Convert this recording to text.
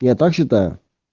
я так считаю